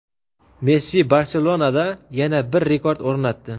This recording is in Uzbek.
Messi "Barselona"da yana bir rekord o‘rnatdi.